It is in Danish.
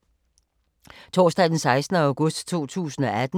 Torsdag d. 16. august 2018